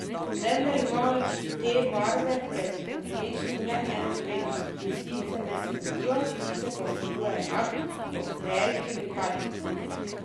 Vendar imajo te barve pred konkurenčnimi le eno prednost, in sicer ne smrdijo, sicer pa vsebujejo enak koktajl kemikalij.